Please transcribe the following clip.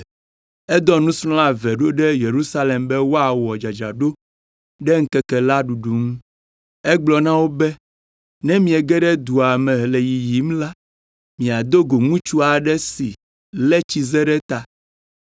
Edɔ nusrɔ̃la eve ɖo ɖe Yerusalem be woawɔ dzadzraɖo ɖe ŋkeke la ɖuɖu ŋu. Egblɔ na wo be, “Ne miege ɖe dua me le yiyim la, miado go ŋutsu aɖe si lé tsize ɖe ta.